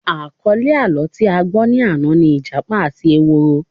Àkọlé àlọ́ tí a gbọ́ ni àná ni Ìjápa àti ehoro